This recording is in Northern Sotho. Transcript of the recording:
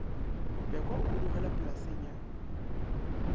pekwa o hudugela polaseng ya